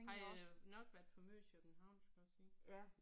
Han øh nok været for meget i København skulle jeg sige